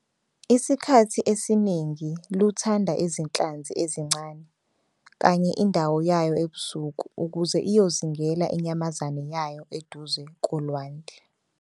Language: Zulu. Isikhathi esiningi luthanda izinhlanzi ezincane kanye indawo yayo ebusuku ukuze iyozingela inyamazane yayo eduze kolwandle.